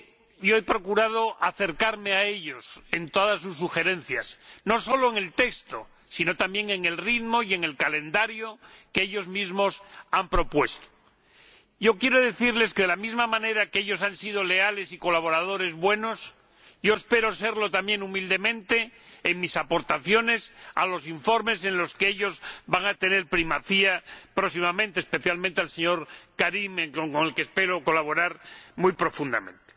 Yo he procurado acercarme a ellos en todas sus sugerencias, no solo en el texto sino también en el ritmo y en el calendario que ellos mismos han propuesto. Quiero decirles que, de la misma manera en que ellos han sido leales y buenos colaboradores, yo espero serlo también, humildemente, en mis aportaciones a los informes en los que ellos van a tener primacía próximamente, especialmente el señor Karim, con el que espero colaborar muy profundamente.